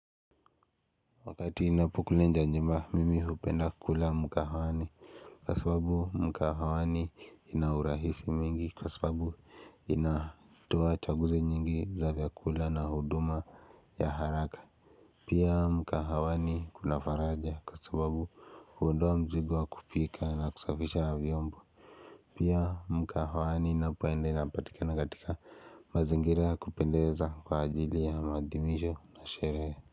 Wakati inapo kula inje ya nyumba mimi hupenda kula mkahawani kwa sababu mkahawani kunaurahisi mwingi kwa sababu inatoa chaguzi nyingi za vyakula na huduma ya haraka Pia mkahawani kuna faraja kwa sababu huondoa mzigo wa kupika na kusafisha vyiombo Pia mkahawani ninapoenda inapatikana katika mazingira ya kupendeza kwa ajili ya mathimisho na sherehe.